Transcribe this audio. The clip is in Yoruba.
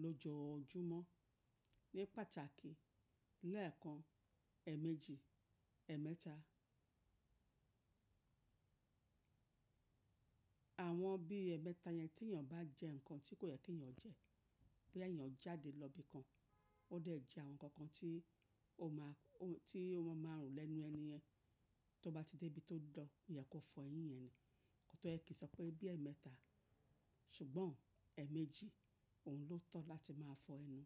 lójojúmọ́ ní pàtàkì lẹ́ẹ̀kan, ẹ̀ẹ̀mẹ́jì, ẹ̀ẹ̀mẹ́ta. Àwọn bí ẹ̀ẹ̀mẹ́ta yẹn tí èèyàn bá jẹ nǹkan tí kò yẹ tí èèyàn jẹ, bí èèyàn jáde lọ ibi kan, ó dẹ̀ jẹ àwọn nǹkan kan tí ó máa, tí ó máa rùn lẹ́nu ẹni yẹn, tó bá ti dé ibi tó dọ̀ọ́, ìyẹ́ kó fọ eyín yẹn ni, kí ó tó yẹ kí n sọ pé bí ẹ̀ẹ̀mẹ́ta ṣùgbọ́n ẹ̀ẹ̀mẹ́jì òun ló tọ́ láti máa fọ ẹnu.